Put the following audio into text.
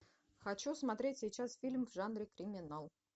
хочу смотреть сейчас фильм в жанре криминал